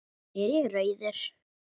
Er ég rauður?